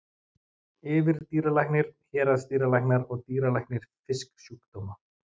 Yfirdýralæknir, héraðsdýralæknar og dýralæknir fisksjúkdóma.